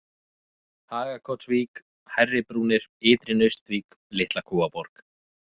Hagakotsvík, Hærri-Brúnir, Ytri-Naustvík, Litla-Kúaborg